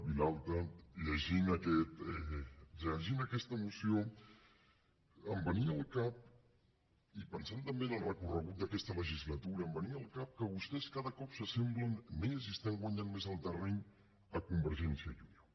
vilalta llegint aquesta moció em venia al cap i pensant també en el recorregut d’aquesta legislatura que vostès cada cop s’assemblen més i estan guanyant més el terreny a convergència i unió